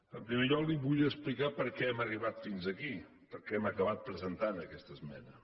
en primer lloc li vull explicar per què hem arribat fins aquí per què hem acabat presentant aquesta esmena